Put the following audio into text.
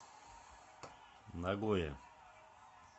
нагоя